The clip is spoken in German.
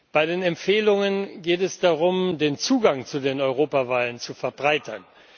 Bei den Empfehlungen geht es darum, den Zugang zu den Europawahlen zu verbreitern.